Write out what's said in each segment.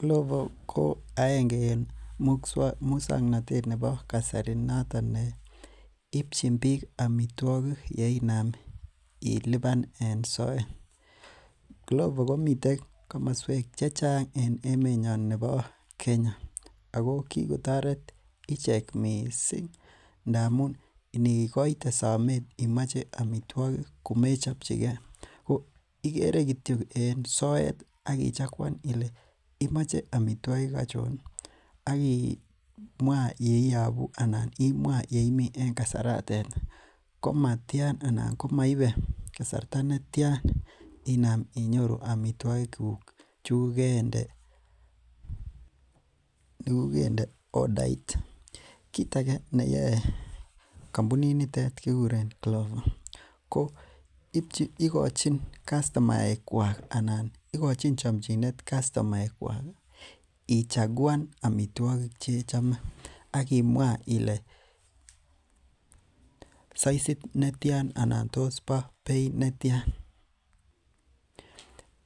Glovo ko aenge en musuaknotet nebo kasari. Ibchi bik amituakik yeinaam iluban en soet, glovo komiten komosuek chechang en emeet nyoon nebo Kenya. Ako kikotoret ichek missing ngamun inikoite somet komomache ichobchikei ko igere kityo en soet akichakuan Ile imoche amituakik achon, akimwa yeiabu anan yeimii en kasaraton, komatian anan komaibe kasarta netian inam inyoru amituogik che. kit age neyoe kampunit nitet nebo Glovo? iihikochin kastomaek kuak ichakuan tuguk chechame. Imwaa Ile saisit netian anan tos bo beit netian .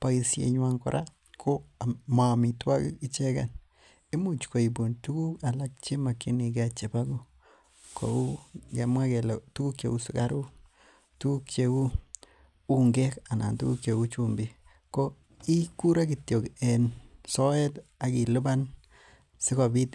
Boisienyuan kora koi much koibun tuguk chemokinige chebo kouu kemwaa kele sukaruk, ungek anan chumbik. Ko igure kityok en soet akiluban kit negemoe.